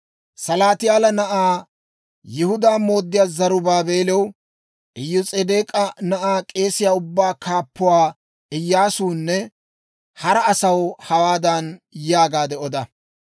«Salaatiyaala na'aa, Yihudaa mooddiyaa Zarubaabeelaw, Iyos'edeek'a na'aa, k'eesiyaa ubbatuu kaappuwaa Iyyaasuwunne hara asaw hawaadan yaagaade oda;